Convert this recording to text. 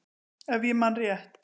Ef ég man rétt.